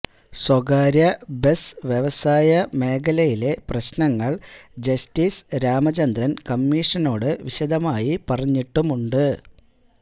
സ്വകാര്യബസ് വ്യവസായ മേഖലയിലെ പ്രശ്നങ്ങള് ജസ്റ്റിസ് രാമചന്ദ്രന് കമ്മീഷനോട് വിശദമായി പറഞ്ഞിട്ടുമുണ്ട്